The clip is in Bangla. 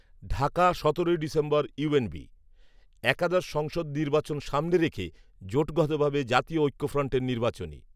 ঢাকা, সতেরোই ডিসেম্বর ইউএনবি, একাদশ সংসদ নির্বাচন সামনে রেখে জোটগতভাবে জাতীয় ঐক্যফ্রন্টের নির্বাচনী